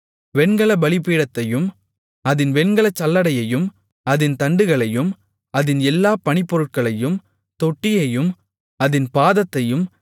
வெண்கலப் பலிபீடத்தையும் அதின் வெண்கலச் சல்லடையையும் அதின் தண்டுகளையும் அதின் எல்லா பணிப்பொருட்களையும் தொட்டியையும் அதின் பாதத்தையும்